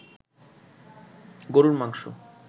গরুর মাংস